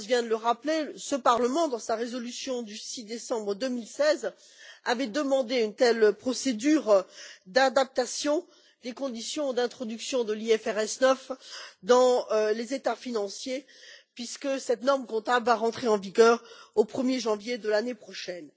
Karas vient de le rappeler, ce Parlement, dans sa résolution du 6 décembre 2016, avait demandé une telle procédure d'adaptation des conditions d'introduction de l'IFRS 9 dans les états financiers, puisque cette norme comptable va entrer en vigueur au 1er janvier de l'année prochaine.